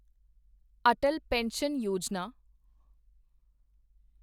Atal pension Yojana